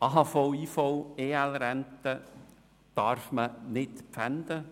AHV-, IV- und EL-Renten darf man nicht pfänden.